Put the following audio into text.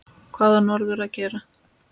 Hvað á norður að gera?